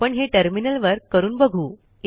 आपण हे टर्मिनलवर करून बघू